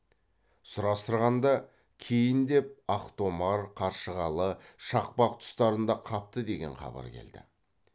сұрастырғанда кейіндеп ақтомар қаршығалы шақпақ тұстарында қапты деген хабар келді